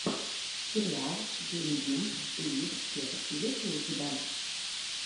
сериал гейминг уив кев есть ли у тебя